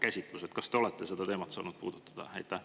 Kas te olete saanud seda teemat puudutada?